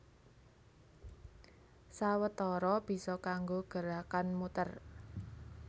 Sawetara bisa kanggo gerakan muter